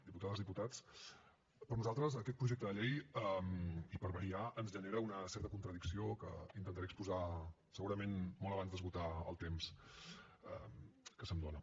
diputades diputats per nosaltres aquest projecte de llei i per variar ens genera una certa contradicció que intentaré exposar segurament molt abans d’esgotar el temps que se’m dóna